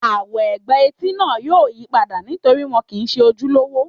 Àwọ̀ ègbà etí náà yóò yí padà nítorí wọn kìí se ojúlówó